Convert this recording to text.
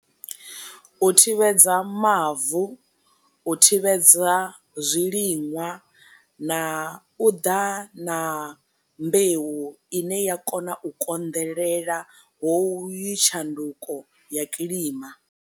U thivhedza mavu, u thivhedza zwiliṅwa, na u ḓa na mbeu i ne ya kona u konḓelela ho uyu tshanduko ya kilima.